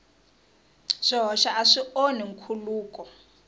swihoxo a swi onhi nkhuluko